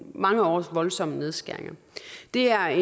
mange års voldsomme nedskæringer det er